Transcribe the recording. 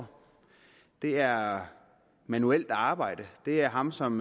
år det er manuelt arbejde det er ham som